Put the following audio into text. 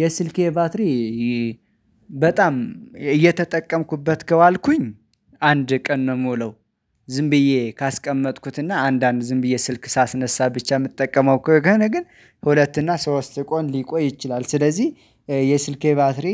የስልኬ ባትሪ በጣም እየተጠቀምኩበት ከዋልኩኝ አንድ ቀን ነው ምውለው፤ ዝም ብዬ ካስቀመጥኩትና አንዳንድ ዝም ብዬ ስልክ ሳስነሳ ብቻ የምትጠቀመው ከሆነ ግን ሁለት እና ሶስት ቆን ሊቆይ ይችላል። ስለዚህ የስልኬ ባትሪ